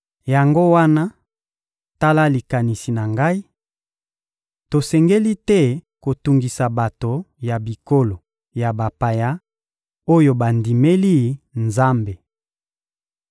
Yango wana, tala likanisi na ngai: Tosengeli te kotungisa bato ya bikolo ya bapaya oyo bandimeli Nzambe.